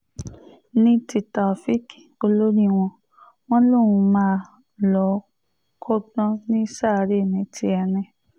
ní ti taofeek olórí wọn wọn lòún máa lọ́ọ́ kọ́gbọ́n ní ṣàárẹ̀ ní tiẹ̀ ni